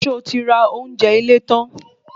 So ti ra ounjẹ ile tan?